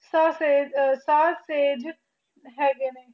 ਸਾਫ ਸਸੈਜ ਹੈਗੇ ਨੇ